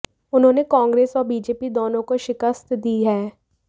उन्होंने कांग्रेस और बीजेपी दोनों को शिकस्त दी है